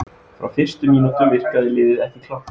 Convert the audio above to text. Frá fyrstu mínútu virkaði liðið ekki klárt.